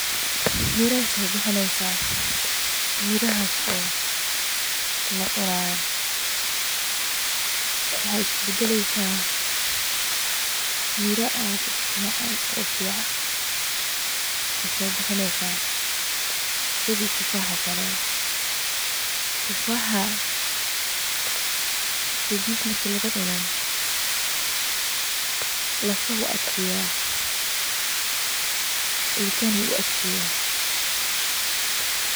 Miro ayey sobixineysa mirahas oo lacunayo waxa iskubadaleysa miro aad ufican ayey soibixineysa sidii tufaxa, tufaxa sidiasa marki lugucuno lafaha iyo ilkaha ayey adkeneysa.